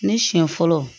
Ne siɲɛ fɔlɔ